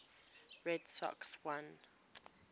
red sox won